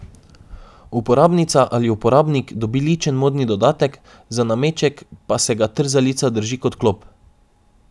Uporabnica ali uporabnik dobi ličen modni dodatek, za nameček pa se ga trzalica drži kot klop.